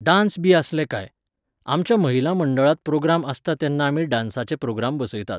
Dance बी आसले कांय. आमच्या महिला मंडळांत प्रोग्राम आसता तेन्ना आमी डांसाचे प्रोग्राम बसयतात.